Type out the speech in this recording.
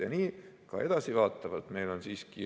Ja nii ka edasivaatavalt.